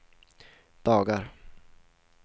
dagar